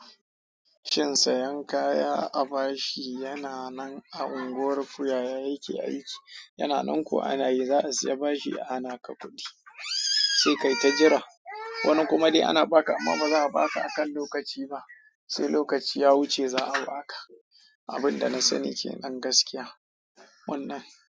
Shin sayan kaya a ba shi yana nan a unguwar kuyaya yake aiki, yana nan kuwa ana yi za a siya ba shi ana ka kuɗi, sai kai ta jira. Wani kuma dai ana ba ka amma ba za a ba ka akan lokaci ba, sai lokaci ya wuce za a ba ka. Abin da na sani ke ɗan gaskiya wannan.